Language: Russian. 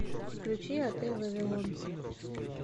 включи отель вавилон